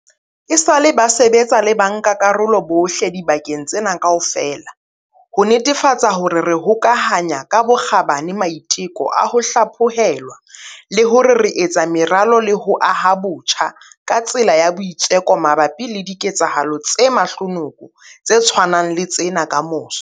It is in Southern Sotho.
Esale ba sebetsa le bankakarolo bohle dibakeng tsena kaofela ho netefatsa hore re hokahanya ka bokgabane maiteko a ho hlaphohelwa le hore re etsa meralo le ho aha botjha ka tsela ya boitseko mabapi le diketsahalo tse mahlonoko tse tshwanang le tsena kamoso.